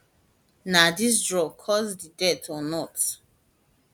na dis drugs cause di death or not